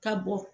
Ka bɔ